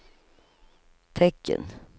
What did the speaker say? tecken